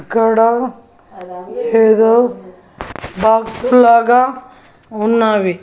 ఇక్కడ ఏదో బాక్స్ లాగా ఉన్నావి.